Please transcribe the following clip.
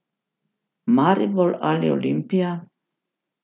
Maribor ali Olimpija?